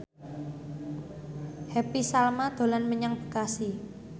Happy Salma dolan menyang Bekasi